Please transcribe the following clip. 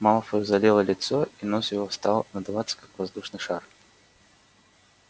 малфою залило лицо и нос его стал надуваться как воздушный шар